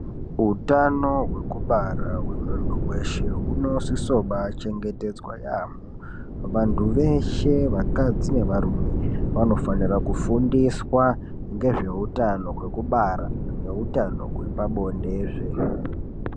Utano hwekubara hwemunhu weshe hunosise kubaachengetedzwa yaamho. Vanhu veshe vakadzi nevarume vanofanira kufundiswa ngezveutano hwekubara nehutano hwepabonde.